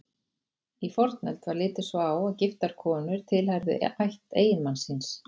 Í fornöld var litið svo á að giftar konur tilheyrðu ætt eiginmanns síns.